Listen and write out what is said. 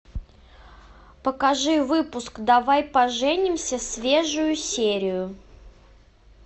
покажи выпуск давай поженимся свежую серию